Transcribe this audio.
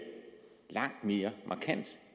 langt mere markant